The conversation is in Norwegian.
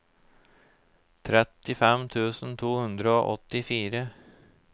trettifem tusen to hundre og åttifire